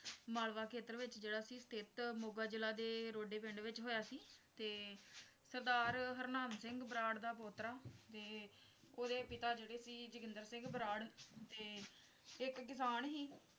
ਮਾਲਵਾ ਖੇਤਰ ਵਿੱਚ ਜਿਹੜਾ ਸੀ ਸਥਿਤ ਮੋਗਾ ਜਿਲ੍ਹੇ ਦੇ ਰੋਡੇ ਪਿੰਡ ਵਿੱਚ ਹੋਇਆ ਸੀ ਤੇ ਸਰਦਾਰ ਹਰਨਾਮ ਸਿੰਘ ਬਰਾੜ ਦਾ ਪੋਤਰਾ ਤੇ ਓਹਦੇ ਪਿਤਾ ਜਿਹੜੇ ਸੀ ਜੋਗਿੰਦਰ ਸਿੰਘ ਬਰਾੜ ਤੇ ਇੱਕ ਕਿਸਾਨ ਸੀ